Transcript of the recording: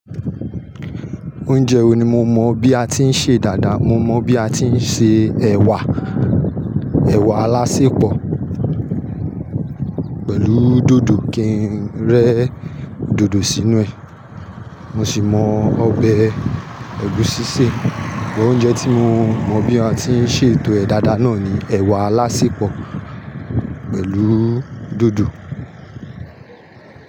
Oúnjẹ wo ni mo mọ bí a ti ń ṣe dáadáa? Mo mọ bí a ti ń se ẹ̀wà, ẹ̀wà alásẹpọ̀ pẹ̀lú dòdò kì ń rẹ́ dòdò sínú ẹ̀. Mo sì mọ ọbẹ̀ ẹ̀gúsí se. Bọ oúnjẹ tí mo mọ bí a ti ń ṣe ètò ẹ̀ dáadáa náà ni ẹ̀wà alásẹpọ̀ pẹ̀lú dòdò.